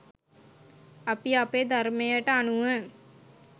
අපි අපේ ධර්මයට අනුව